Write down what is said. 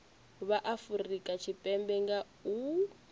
vha afurika tshipembe nga u